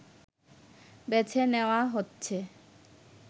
বেছে নেয়া হচ্ছে